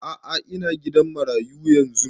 A'a ina gidan marayu yanzun